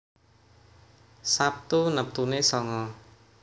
Sabtu neptune sanga